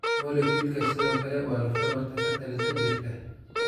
Moleculka sidoo kale waa laf dhabarta ka talisa jirka.